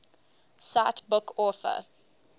cite book author